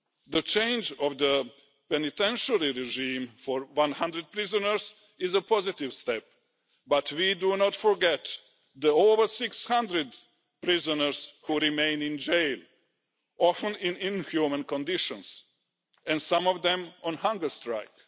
The change of the penitentiary regime for 100 prisoners is a positive step, but we do not forget the over 600 prisoners who remain in jail, often in inhuman conditions and some of them on hunger strike.